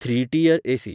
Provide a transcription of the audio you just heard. three tier AC